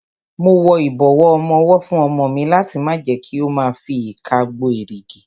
Mo wọ ìbọ̀wọ́ ọmọwọ́ fún ọmọ mi láti má jẹ kí ó ma fi ìka gbo èrìgì.